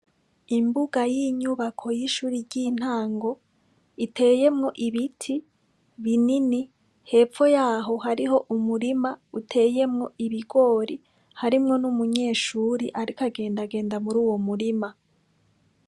Imbuga y'inyubako y'ishuri ry'intango iteyemwo ibiti binini hepfo yaho hariho umurima uteyemwo ibigori harimwo n'umunyeshuri, ariko agendagenda muri uwo murima.